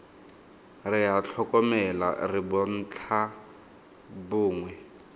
re a tlhokomela re bontlhabongwe